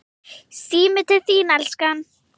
Síminn til þín, elskan!